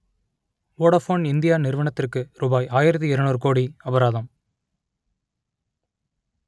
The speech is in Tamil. வோடஃபோன் இந்தியா நிறுவனத்திற்கு ரூபாய் ஆயிரத்து இருநூறு கோடி அபராதம்